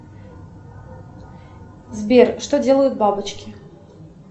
сбер что делают бабочки